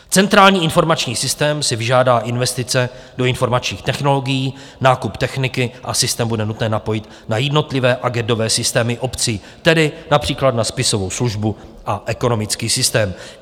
Centrální informační systém si vyžádá investice do informačních technologií, nákup techniky a systém bude nutné napojit na jednotlivé agendové systémy obcí, tedy například na spisovou službu a ekonomický systém.